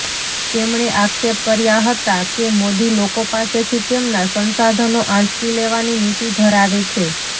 તેમણે આક્ષેપ કર્યા હતા કે મોદી લોકો પાસેથી તેમનાં સંસાધનો આંચકી લેવાની નીતિ ધરાવે છે